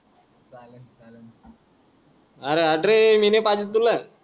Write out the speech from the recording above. अरे हट् रे मी नाय पाजीत तुला